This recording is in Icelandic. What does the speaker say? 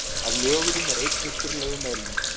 Af nögurum er einn upprunalegur meðlimur.